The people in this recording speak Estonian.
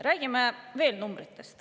Räägime veel numbritest.